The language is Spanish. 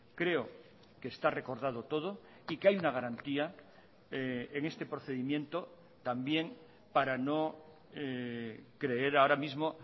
creo que está recordado todo y que hay una garantía en este procedimiento también para no creer ahora mismo